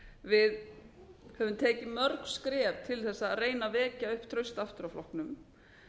við höfum tekið mörg skref tl að reyna að vekja upp traust aftur á flokknum